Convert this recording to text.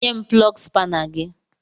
Nye m plọgu spana gị!